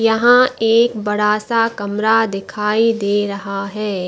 यहाँ एक बड़ा सा कमरा दिखाई दे रहा है।